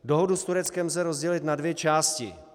Dohodu s Tureckem lze rozdělit na dvě části.